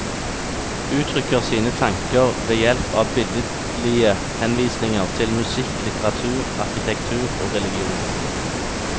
Uttrykker sine tanker ved hjelp av billedlige henvisninger til musikk, litteratur, arkitektur og religion.